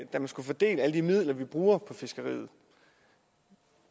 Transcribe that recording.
at da man skulle fordele alle de midler vi bruger på fiskeriet